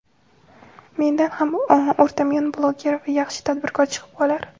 mendan ham o‘rtamiyona blogger va yaxshi tadbirkor chiqib qolar.